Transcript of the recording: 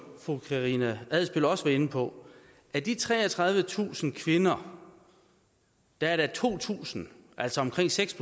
fru karina adsbøl også var inde på at af de treogtredivetusind kvinder er der to tusind altså omkring seks